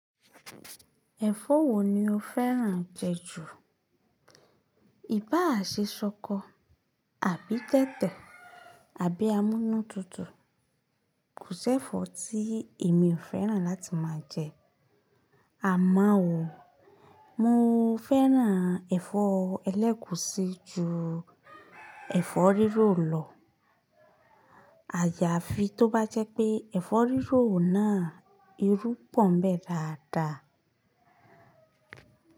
Ẹ̀fọ́ wo ni o fẹ́ràn jẹ ju? Ìbá ṣe ṣọkọ àbí tẹ̀tẹ̀, àbí amúnútutù, kò sẹ́fọ́ tí èmi ò fẹ́ràn láti máa jẹ. Àmo o, mo fẹ́ràn ẹ̀fọ́ ẹlẹ́kùsí ju ẹ̀fọ́ rírò lọ. Àjàfi tó bá jẹ́ pé ẹ̀fọ́ rírò náà irú pọ́n ń bẹ́ dáadáa.